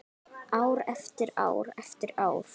Ár eftir ár eftir ár.